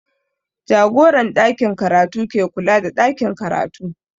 Jagoran ɗakin karatu ke kula da ɗakin karatu